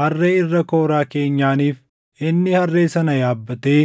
harree irra kooraa keenyaaniif inni harree sana yaabbatee